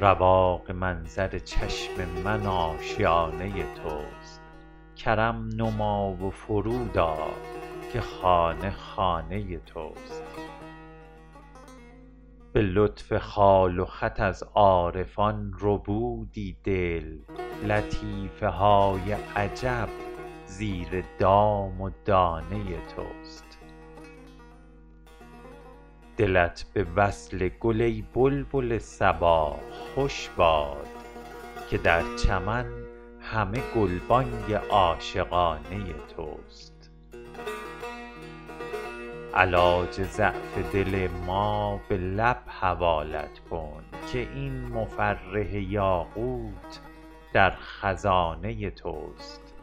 رواق منظر چشم من آشیانه توست کرم نما و فرود آ که خانه خانه توست به لطف خال و خط از عارفان ربودی دل لطیفه های عجب زیر دام و دانه توست دلت به وصل گل ای بلبل صبا خوش باد که در چمن همه گلبانگ عاشقانه توست علاج ضعف دل ما به لب حوالت کن که این مفرح یاقوت در خزانه توست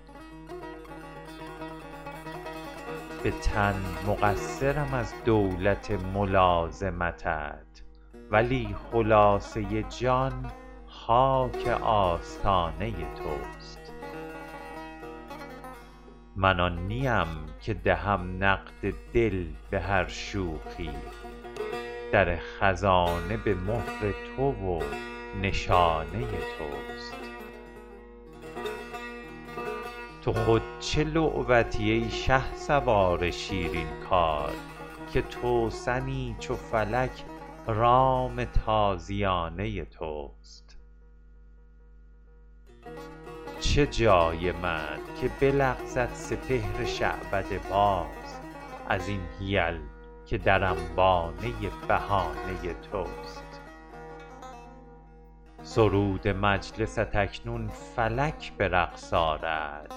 به تن مقصرم از دولت ملازمتت ولی خلاصه جان خاک آستانه توست من آن نیم که دهم نقد دل به هر شوخی در خزانه به مهر تو و نشانه توست تو خود چه لعبتی ای شهسوار شیرین کار که توسنی چو فلک رام تازیانه توست چه جای من که بلغزد سپهر شعبده باز از این حیل که در انبانه بهانه توست سرود مجلست اکنون فلک به رقص آرد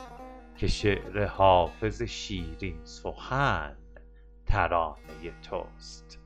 که شعر حافظ شیرین سخن ترانه توست